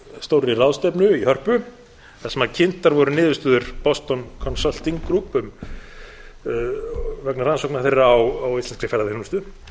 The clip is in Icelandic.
gríðarstórri ráðstefnu í hörpu þar sem kynntar voru niðurstöður boston consulting group vegna rannsókna þeirra á íslenskri ferðaþjónustu